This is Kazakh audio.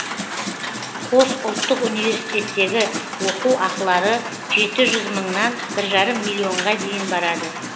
қос ұлттық университеттегі оқу ақылары жеті жүз мыңнан бір жарым миллионға дейін барады